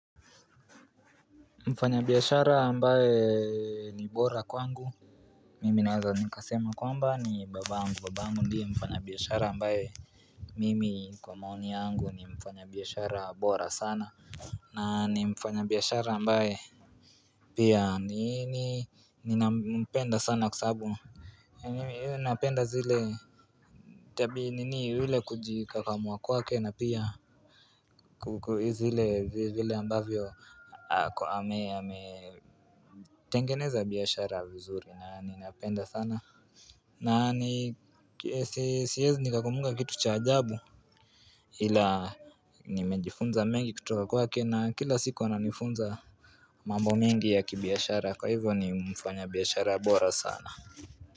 Mfanya biashara ambaye ni bora kwangu Mimi naweza nikasema kwamba ni babangu babangu ndiye mfanya biashara ambaye Mimi kwa maoni yangu ni mfanya biashara bora sana na ni mfanya biashara ambaye Pia ni ni ninampenda sana kwa sababu ni ni napenda zile Tabia nini ile kujikakamua kwake na pia kuku zile vile ambavyo ako ame ame tengeneza biashara vizuri na ni napenda sana na ni siezi nikakumbuka kitu cha ajabu ila nimejifunza mengi kutoka kwake na kila siku ananifunza mambo mengi ya kibiashara kwa hivyo ni mfanya biashara bora sana.